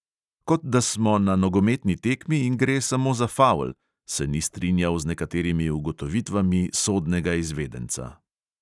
"Kot da smo na nogometni tekmi in gre samo za favl," se ni strinjal z nekaterimi ugotovitvami sodnega izvedenca.